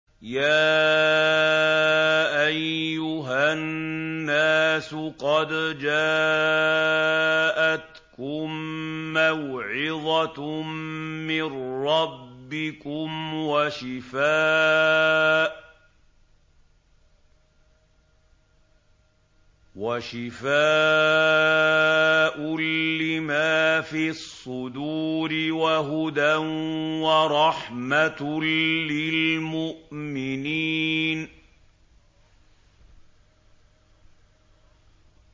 يَا أَيُّهَا النَّاسُ قَدْ جَاءَتْكُم مَّوْعِظَةٌ مِّن رَّبِّكُمْ وَشِفَاءٌ لِّمَا فِي الصُّدُورِ وَهُدًى وَرَحْمَةٌ لِّلْمُؤْمِنِينَ